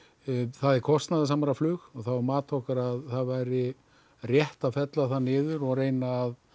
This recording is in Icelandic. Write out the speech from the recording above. það er kostnaðarsamara flug það var mat okkar að það væri rétt að fella það niður og reyna að